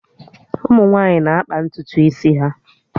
Ụmụ nwaanyị na-akpa ntutu isi ha